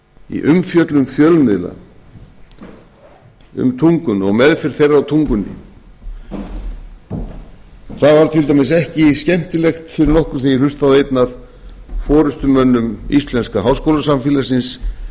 í umfjöllun fjölmiðla um tunguna og meðferð þeirra á tungunni það var til dæmis ekki skemmtilegt fyrir okkur þegar ég hlustaði á einn af forustumönnum íslenska háskólasamfélagsins